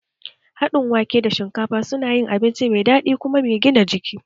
Haɗin wake da shinkafa su na yin abinci mai daɗi da kuma gina jiki